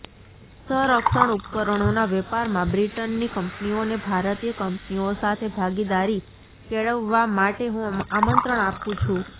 સરંક્ષણ ઉપકરણોના વેપારમાં બ્રિટનની કંપનીઓને ભારતીય કંપનીઓ સાથે ભાગીદારી કેળવવા માટે હું આમંત્રણ આપું છું